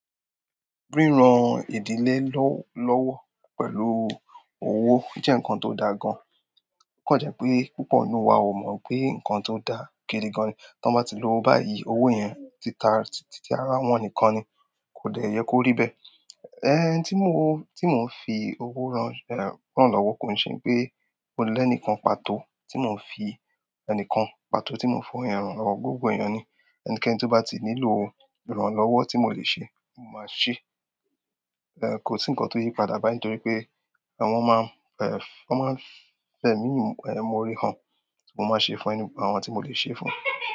Ri ìran ìdílé lọ́wọ́ pẹ̀lú owó jẹ́ ǹkan tó da gan. O kàn jẹ́ pé púpọ̀ nínú wa ò mọ̀ pé ǹkan tó dà gidi gan ni. Tí wọ́n bá ti lòwó báyìí, owó yẹn ti ara wọn nìkan ni, kò dẹ́ yẹ kó rí bẹ́ẹ̀. Ẹn, tí mò ń fi owó ran lọ́wọ́ kò ṣe pé mo lè ẹni kan pàtó, tí mò ń fi ẹni kan pàtó tí mò ń fún ẹni ran lọ́wọ́, gbogbo ẹ̀yàn ni ẹnikẹ́ni tó bá ti nílò ìran lọ́wọ́ tí mò lè ṣe, mò máa ṣe. Ẹ̀, kò sí ǹkan tó yí padà báyìí torí pé wọ́n máa ń fẹ̀ mí, more han, mo máa ṣe fún àwọn tí mò lè ṣe fún.